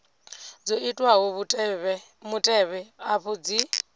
dzo itwaho mutevhe afha dzi